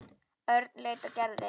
Örn leit á Gerði.